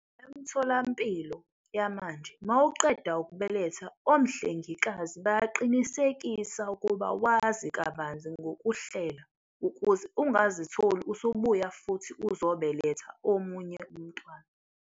Emtholampilo yamanje mawuqeda ukubeletha omhlengikazi bayaqinisekisa ukuba wazi kabanzi ngokuhlela ukuze ungazitholi usubuya futhi uzobeletha omunye umntwana.